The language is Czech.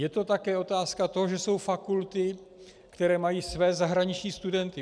Je to také otázka toho, že jsou fakulty, které mají své zahraniční studenty.